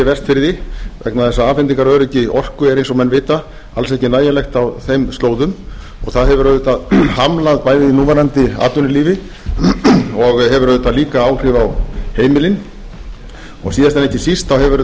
vestfirði vegna þess að afhendingaröryggi orku er eins og menn vita alls ekki nægjanlegt á þeim slóðum það hefur auðvitað hamlað bæði núverandi atvinnulífi og hefur auðvitað líka áhrif á heimilin og síðast en ekki síst hefur þetta